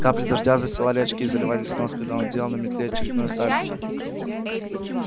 капли дождя застилали очки заливались в нос когда он делал на метле очередное сальто